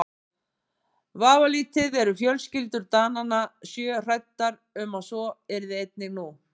Vafalítið eru fjölskyldur Dananna sjö hræddar um að svo yrði einnig nú.